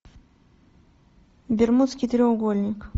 бермудский треугольник